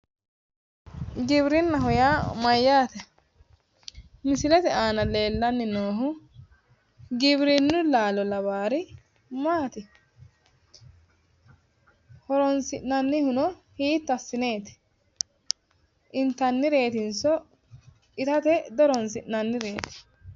giwirinnaho yaa mayyaate? misilete aana leellanni noohu giwirinnu laalo lawaari maati? horonsi'nannihuno hiitto assineeti? intannireetinso itate dihoronsi'nannireeti.